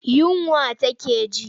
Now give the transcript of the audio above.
Yunwa take ji.